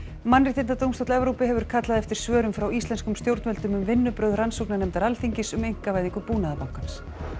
mannréttindadómstóll Evrópu hefur kallað eftir svörum frá íslenskum stjórnvöldum um vinnubrögð rannsóknarnefndar Alþingis um einkavæðingu Búnaðarbankans